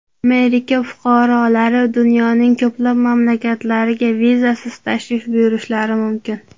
Amerika fuqarolari dunyoning ko‘plab mamlakatlariga vizasiz tashrif buyurishlari mumkin.